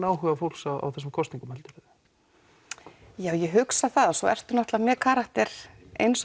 áhuga fólks á þessum kosningum ég hugsa það svo ertu með karakter eins